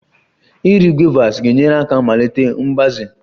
Iri guavas ga-enyere aka melite mgbaze